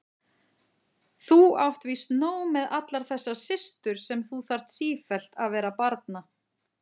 Þú átt víst nóg með allar þessar systur sem þú þarf sífellt vera að barna.